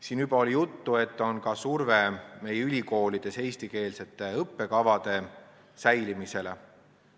Siin oli juba juttu ka sellest, et meie ülikoolides on eestikeelsete õppekavade säilimine surve all.